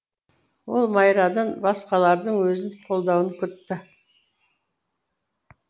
ол майрадан басқалардың өзін қолдауын күтті